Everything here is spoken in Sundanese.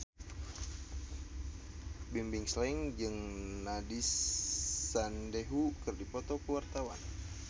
Bimbim Slank jeung Nandish Sandhu keur dipoto ku wartawan